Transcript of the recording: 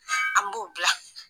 An b'o bila.